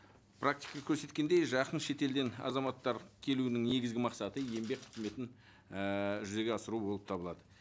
практика көрсеткендей жақын шетелден азаматтар келуінің негізгі мақсаты еңбек қызметін ііі жүзеге асыру болып табылады